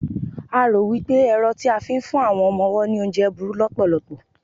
a ro wipe ẹrọ ti a fi n fún ọmọ ọwọ ni oúnje buru lopolopo